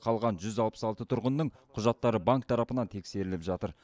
қалған жүз алпыс алты тұрғынның құжаттары банк тарапынан тексеріліп жатыр